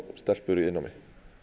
stelpur í iðnnámi